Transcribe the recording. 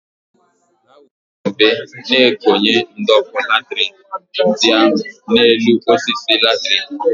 Ha werezie mbe na-ekonye ụd'ọkụ latrik ndị ahụ n'enu osisi latrik.